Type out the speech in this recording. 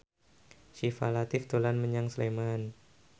Syifa Latief dolan menyang Sleman